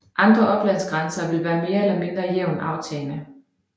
Andre oplandsgrænser vil være mere eller mindre jævnt aftagende